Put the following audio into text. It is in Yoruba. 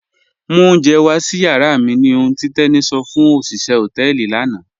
Mú ọ̀unjẹ̀ wà sí yàrà mi ní òhùn tí Teni sọ fún ọ̀ṣiṣẹ̀ họtẹẹlì lànà